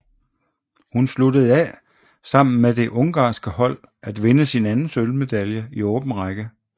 Hun sluttede af med sammen med det ungarske hold at vinde sin anden sølvmedalje i åben række